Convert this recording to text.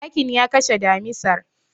Zakin ya kashe damisar.